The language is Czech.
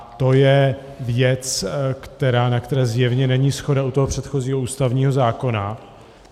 A to je věc, na které zjevně není shoda u toho předchozího ústavního zákona.